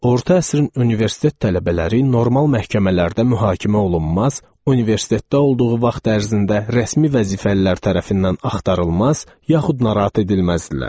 Orta əsrin universitet tələbələri normal məhkəmələrdə mühakimə olunmaz, universitetdə olduğu vaxt ərzində rəsmi vəzifəlilər tərəfindən axtarılmaz, yaxud narahat edilməzdilər.